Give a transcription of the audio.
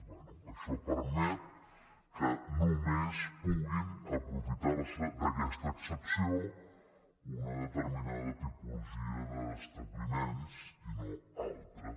bé això permet que només puguin aprofitar se d’aquesta excepció una determinada tipologia d’establiments i no altres